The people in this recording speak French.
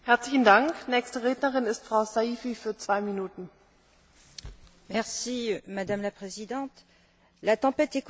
Madame la Présidente, la tempête économique et financière que nous venons de traverser a provoqué de nombreux dégâts.